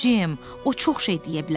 Jim, o çox şey deyə bilər.